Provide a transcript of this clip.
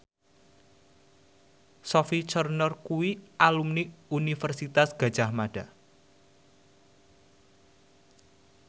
Sophie Turner kuwi alumni Universitas Gadjah Mada